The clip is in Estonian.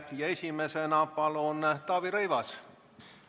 Esimesena palun Taavi Rõivas!